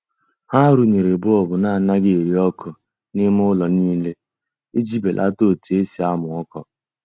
Ha runyere bọọbụ na anaghị eri ọkụ n'ime ụlọ niile iji belata otu esi amụ ọkụ.